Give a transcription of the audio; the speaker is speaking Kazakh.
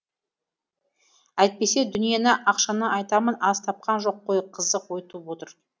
әйтпесе дүниені ақшаны айтамын аз тапқан жоқ қой қызық ой туып отыр